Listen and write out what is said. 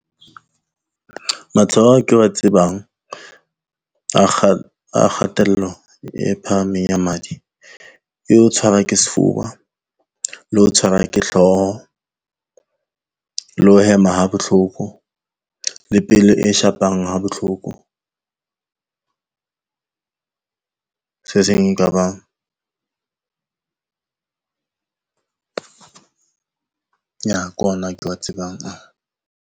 Matshwao ao ke wa tsebang a a kgatello e phahameng ya madi, e ho tshwarwa ke sefuba le ho tshwarwa ke hlooho le ho hema ha bohloko, le pelo e shapang ha bohloko se seng ekaba yah ke ona ke wa tsebang a.